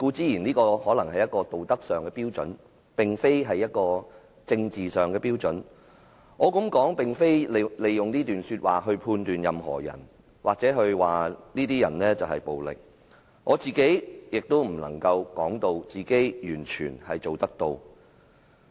以上所說固然是道德標準而非政治標準，我這樣說也並非旨在利用這段說話判斷任何人或指某些人暴力，更不能說自己能夠完全做得到。